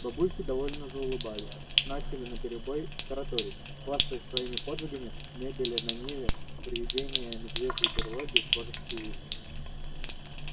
бабульки довольно заулыбались начали наперебой тараторить хвастаясь своими подвигами мебели на ниве приведения медвежьей берлоги в божеский вид